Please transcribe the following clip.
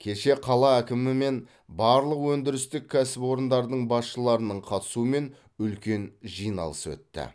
кеше қала әкімі мен барлық өндірістік кәсіпорындардың басшыларының қатысуымен үлкен жиналыс өтті